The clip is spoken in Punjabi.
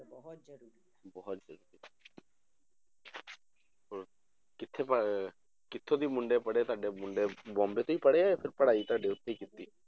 ਬਹੁਤ ਜ਼ਰੂਰੀ ਹੋਰ ਕਿੱਥੇ ਪਾਏ ਹੋਏ ਆ, ਕਿੱਥੋਂ ਦੀ ਮੁੰਡੇ ਪੜ੍ਹੇ ਤੁਹਾਡੇ ਮੁੰਡੇ ਬੋਂਬੇ ਤੋਂ ਹੀ ਪੜ੍ਹੇ ਹੈ ਜਾਂ ਫਿਰ ਪੜ੍ਹਾਈ ਤੁਹਾਡੀ ਉੱਥੇ ਹੀ ਕੀਤੀ